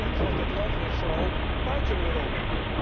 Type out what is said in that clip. Vreemd, want dit land ligt vooral buiten Europa.